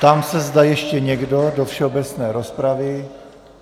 Ptám se, zda ještě někdo do všeobecné rozpravy.